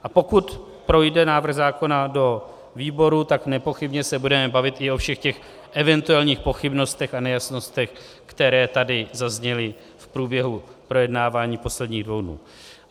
A pokud projde návrh zákona do výboru, tak nepochybně se budeme bavit i o všech těch eventuálních pochybnostech a nejasnostech, které tady zazněly v průběhu projednávání posledních dvou dnů.